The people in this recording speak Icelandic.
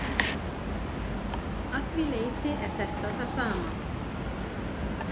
Að því leyti er þetta það sama.